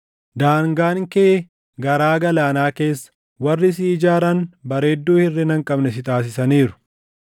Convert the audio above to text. Daangaan kee garaa galaanaa keessa; warri si ijaaran bareedduu hirʼina hin qabne si taasisaniiru.